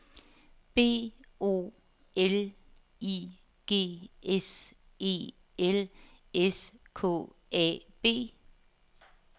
B O L I G S E L S K A B